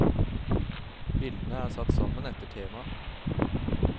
Bildene er satt sammen etter et tema.